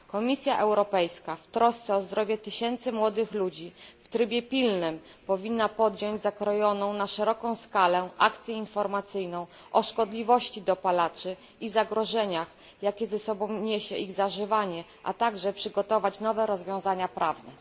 Komisja Europejska w trosce o zdrowie tysięcy młodych ludzi w trybie pilnym powinna podjąć zakrojoną na szeroką skalę akcję informacyjną o szkodliwości dopalaczy i zagrożeniach, jakie niesie ze sobą ich zażywanie, a także przygotować nowe rozwiązania prawne.